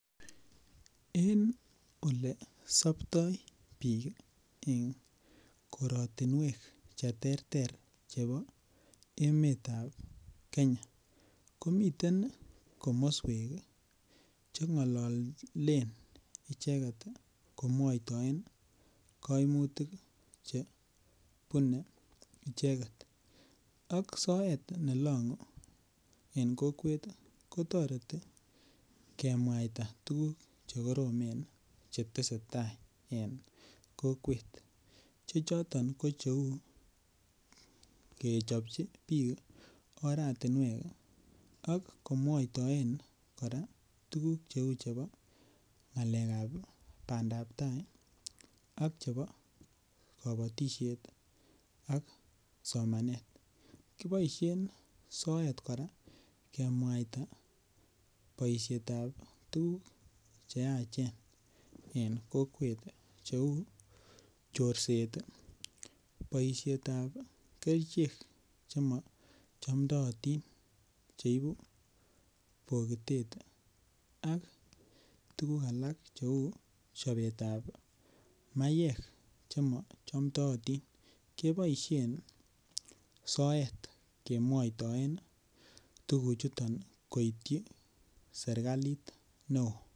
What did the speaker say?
En olesopto bik en korotinwek cheterter chebo emetab Kenya komiten komoswek chengololen icheket komwoitoen koimutik chebune icheket ak soet nelongu en kokwet kotoreti kemwaita tuguk chekorome chetesetaa en kokwet, chechoton ko cheu kechopchi bik oratinwek ok komwoitoen koraa tuguk cheu chebo ngalekab bandaitaa ak chebo kobotishet ak somanet, kiboishen soet koraa kemwaita boishetab tuguk cheachen en kokwet cheu chorset ii boishetab kerichek chemochomdootin cheibu bokitet ak tuguk alak cheu chobetab maiwek chemoiyonotin keboishen soet kemwoitoen ii tuguchuton koityi sirkalit neo.